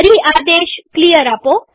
ફરી આદેશ ક્લિયર આપો